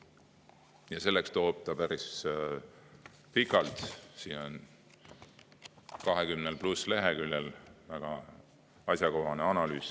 Ja selleks, et sellist järeldust teha, on ta päris pika – siin 20 pluss lehekülge –, väga asjakohase analüüsi.